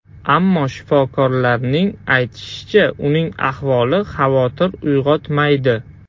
Ammo shifokorlarning aytishicha, uning ahvoli xavotir uyg‘otmaydi.